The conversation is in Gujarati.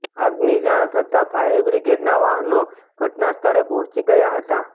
આગની જાણ થતાં ફાયર બ્રિગેડના વાહનો ઘટના સ્થળે પહોંચી ગયા હતા